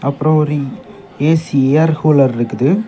அப்புறம் ஒரு AC air cooler இருக்குது.